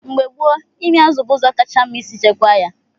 Mgbe gboo, ịmị azụ bụ ụzọ kacha mma isi chekwaa ya.